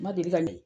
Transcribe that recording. Ma deli ka ne